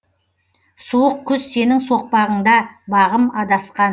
суық күз сенің соқпағыңда бағым адасқан